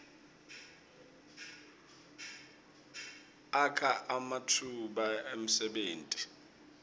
akha ematfuba emsebenti